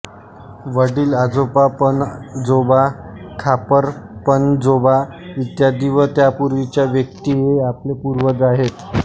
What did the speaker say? वडिलआजोबा पणजोबा खापरपणजोबा इत्यादी व त्यापुर्वीच्या व्यक्ती हे आपले पुर्वज आहेत